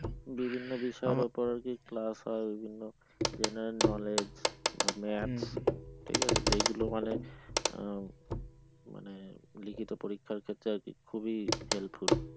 বিভিন্ন বিষয়ের উপর class হয় এগুলো general knowledge math এগুলো যেগুলো মানে লিখিত পরিক্ষার ক্ষেত্রে আরকি খুবই helpful